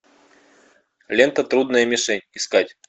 лента трудная мишень искать